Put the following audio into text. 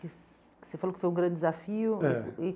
Que que Você falou que foi um grande desafio. É